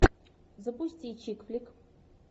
запусти чик флик